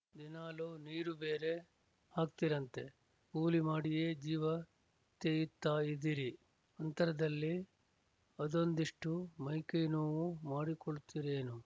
ದಿನಾಲು ನೀರು ಬೇರೆ ಹಾಕ್ತಿರಂತೆ ಕೂಲಿ ಮಾಡಿಯೇ ಜೀವ ತೇಯಿತ್ತಾ ಇದೀರಿ ಅಂತರ್ದಲ್ಲಿ ಅದೊಂದಿಷ್ಟು ಮೈಕೈನೋವು ಮಾಡಿಕೊಳ್ತೀರೇನು